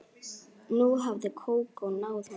Nú hafði Kókó náð honum.